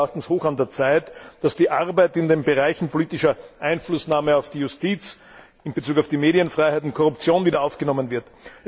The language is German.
Es ist meines Erachtens hoch an der Zeit, dass die Arbeit in den Bereichen politischer Einflussnahme auf die Justiz, in Bezug auf die Medienfreiheit und Korruption wieder aufgenommen wird.